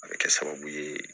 A bɛ kɛ sababu ye